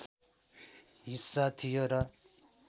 हिस्सा थियो र